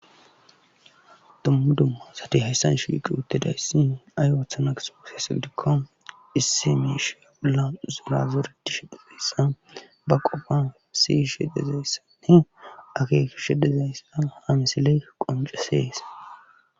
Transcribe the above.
Dumma dumma asati hayssan shiiqi uttidayssi ay ooththana gizo gizayssa gidikko issi miisheya bolla zora zoretishe dezayssa ba qofan siyshe dezayissati akekshe dezayssa ha msiley qoncesees